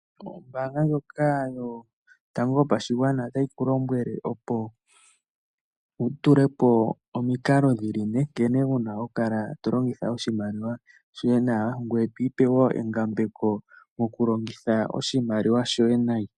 Ombaanga ndjoka yotango yopashigwana otayi ku lombwele, opo wu tule po omikalo dhi li ne nkene wu na okukala to longitha oshimaliwa shoye nawa, ngoye to ipe wo engambeko mokulongitha oshimaliwa shoye nayi.